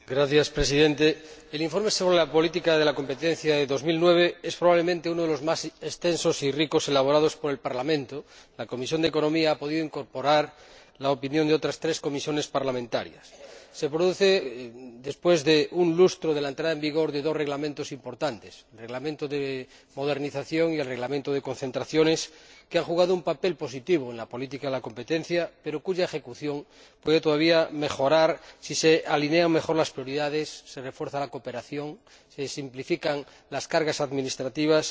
Señor Presidente, el informe sobre la política de competencia 2009 es, probablemente, uno de los más extensos y ricos elaborados por el Parlamento ―la Comisión de Asuntos Económicos y Monetarios ha podido incorporar la opinión de otras tres comisiones parlamentarias― y se produce después de un lustro de la entrada en vigor de dos reglamentos importantes, el Reglamento de modernización y el Reglamento de concentraciones, que han jugado un papel positivo en la política de la competencia pero cuya ejecución puede todavía mejorar si se alinean mejor las prioridades, se refuerza la cooperación, se simplifican las cargas administrativas